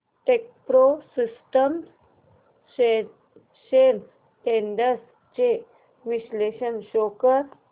Techpro systems shares trends चे विश्लेषण show कर